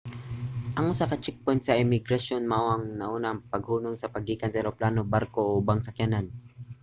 ang usa ka checkpoint sa imigrasyon mao ang una nga paghunong sa paggikan sa eroplano barko o ubang sakyanan